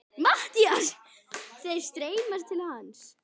MATTHÍAS: Þeir streyma til hans.